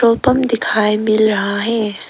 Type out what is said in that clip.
और पंप दिखाई मिल रहा है।